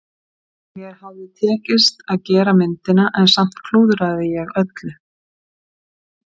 Mér hafði tekist að gera myndina en samt klúðraði ég öllu.